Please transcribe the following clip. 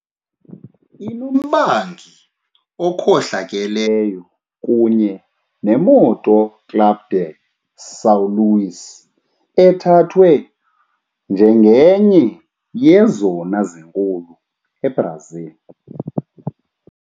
Inombangi okhohlakeleyo kunye neMoto Club de São Luís ethathwa njengenye yezona zinkulu eBrazil.